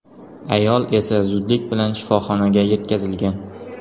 Ayol esa zudlik bilan shifoxonaga yetkazilgan.